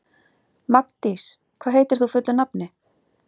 Magndís, hvað heitir þú fullu nafni?